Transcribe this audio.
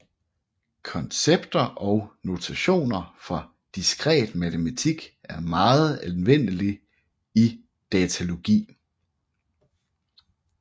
Koncepter og notationer fra diskret matematik er meget anvendelige i datalogi